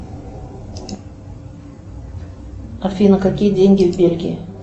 афина какие деньги в бельгии